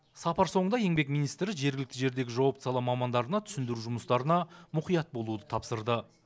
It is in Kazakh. сапар соңында еңбек министрі жергілікті жердегі жауапты сала мамандарына түсіндіру жұмыстарына мұқият болуды тапсырды